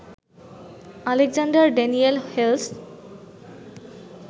Alexander Daniel Hales